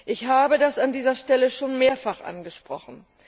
Ich habe das an dieser Stelle bereits mehrfach angesprochen.